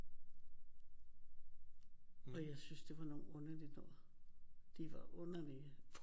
Og jeg syntes det var nogle underligt noget de var underlige